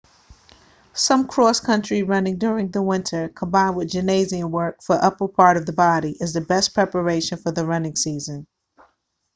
some cross country running during the winter combined with gymnasium work for the upper part of the body is the best preparation for the running season